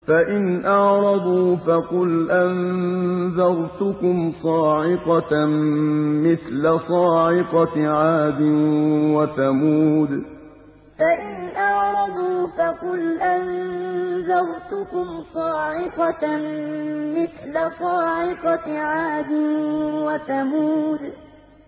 فَإِنْ أَعْرَضُوا فَقُلْ أَنذَرْتُكُمْ صَاعِقَةً مِّثْلَ صَاعِقَةِ عَادٍ وَثَمُودَ فَإِنْ أَعْرَضُوا فَقُلْ أَنذَرْتُكُمْ صَاعِقَةً مِّثْلَ صَاعِقَةِ عَادٍ وَثَمُودَ